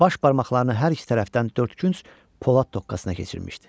Baş barmaqlarını hər iki tərəfdən dördkünc polad toqqasına keçirmişdi.